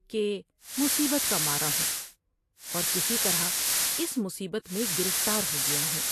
کہ مصیبت کا مارا ہوں اور کسی طرح اس مصیبت میں گرفتار ہو گیا ہوں ۔